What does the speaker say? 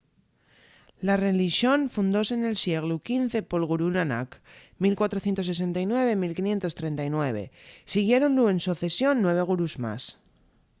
la relixón fundóse nel sieglu xv pol gurú nanak 1469-1539. siguiéronlu en socesión nueve gurús más